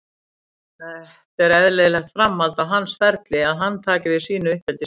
Þetta er eðlilegt framhald á hans ferli að hann taki við sínu uppeldisfélagi.